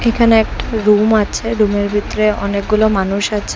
এখানে একটা রুম আছে রুমের ভিতরে অনেকগুলো মানুষ আছে।